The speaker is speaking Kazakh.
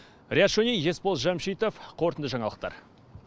риат шони есбол жамшитов қорытынды жаңалықтар